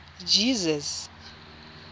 jesus